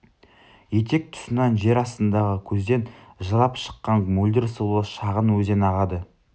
етек тұсынан жер астындағы көзден жылап шыққан мөлдір сулы шағын өзен ағады